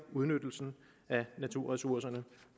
udnyttelsen af naturressourcerne